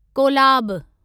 Kolab